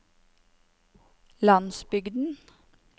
landsbygden